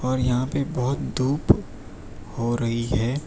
और यहां पे बहोत धूप हो रही है।